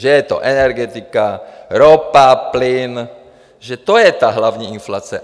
Že je to energetika, ropa, plyn, že to je ta hlavní inflace.